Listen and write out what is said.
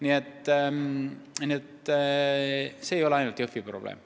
Aga jah, et see ei ole ainult Jõhvi probleem.